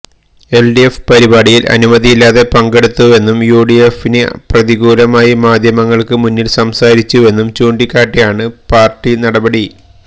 LDF പരിപാടിയില് അനുമതിയില്ലാതെ പങ്കെടുത്തുവെന്നും യുഡിഎഫിന് പ്രതികൂലമായി മാധ്യമങ്ങള്ക്ക് മുന്പില് സംസാരിച്ചുവെന്നും ചൂണ്ടിക്കാട്ടിയാണ് പാര്ട്ടി നടപടി